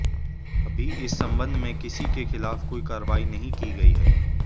अभी इस संबंध में किसी के खिलाफ कोई कार्रवाई नहीं की गई है